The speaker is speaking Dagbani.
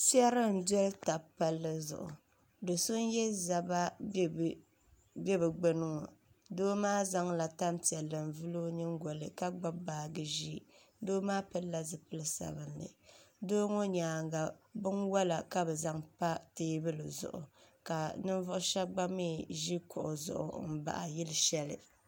Piɛri n doli taba palli zuɣu do so n yɛ zaba bɛ bi gbuni ŋo doo maa zaŋla tanpiɛlli n vuli o nyingoli ka gbubo baaji ʒiɛ doo pilla zipili sabinli doo ŋo nyaanga binwola ka bi zaŋ pa teebuli zuɣu ka ninvuɣu shab gba mii ʒi kuɣu zuɣu n baɣa yili shɛli